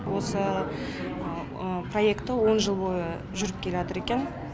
осы проекты он жыл бойы жүріп келатыр екен